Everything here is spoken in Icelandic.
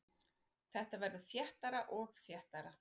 Þetta verður þéttara og þéttara.